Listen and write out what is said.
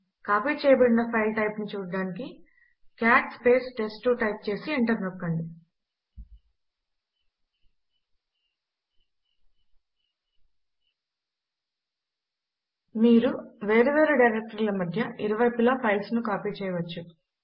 copy చేయబడిన file type ను చూచుటకు కాట్ టెస్ట్2 టైప్ చేసి ఎంటర్ నొక్కండి మీరు వేరు వేరు డైరెక్టరీల మధ్య ఇరు వైపులా ఫైల్స్ ను కాపీ చేయవచ్చు